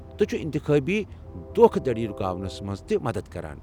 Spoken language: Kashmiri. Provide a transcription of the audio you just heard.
تہٕ چُھو اِنتخٲبی دھوكھٕ دڈی رُکاونس منٛز تہِ مدتھ کران۔